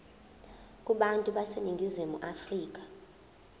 kubantu baseningizimu afrika